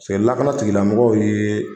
lakanatigilamɔgɔw ye.